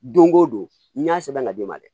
Don o don n y'a sɛbɛn ka d'i ma dɛ